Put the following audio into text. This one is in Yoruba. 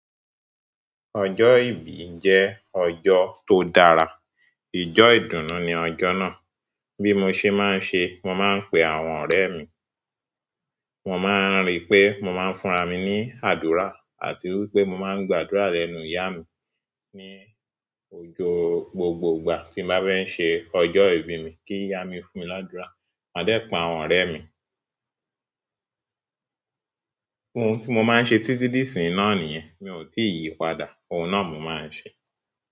Ọjọ́ ìbí jẹ́ ọjọ́ tó dára. Ìjọ́ ìdùnnú ni ọjọ́ náà. Bí mo ṣe máa ń ṣe, mo máa ń pe àwọn ọ̀rẹ́ mi, wọ́n máa ríi pé mo máa ń fúnra mi ní àdúrà àti wípé mo máa ń gbàdúrà lẹ́nu ìyá mi ní ojo gbogbo ìgbà tí mo bá fẹ́ ṣe ọjọ́ ìbí mi kí ìyá mi fún mi ládúrà. Maa dẹ pa àwọn ọ̀rẹ́ mi. Ohun tí mo máa ń ṣe títí dí ìsìn náà nìyẹn, mi ò tí ì yípadà. Ohun náà mo máa ń ṣe.